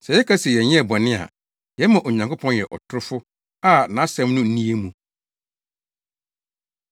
Sɛ yɛka se yɛnyɛɛ bɔne a, yɛma Onyankopɔn yɛ ɔtorofo a nʼAsɛm no nni yɛn mu.